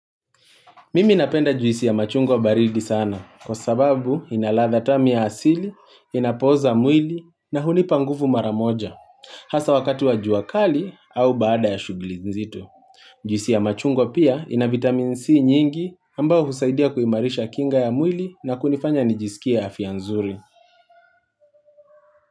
Mimi napenda juisi ya machungo baridi sana, kwa sababu inaladha tamu asili, inapoza mwili na hunipa nguvu maramoja. Hasa wakatu wa juakali au baada ya shugilizitu. Juisi ya machungo pia ina vitamin C nyingi ambao husaidia kuimarisha kinga ya mwili na kunifanya nijisikia afianzuri.